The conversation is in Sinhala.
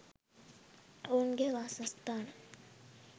ඔවුන්ගේ වාසස්ථාන.